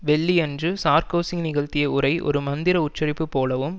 வெள்ளியன்று சார்க்கோசி நிகழ்த்திய உரை ஒரு மந்திர உச்சரிப்பு போலவும்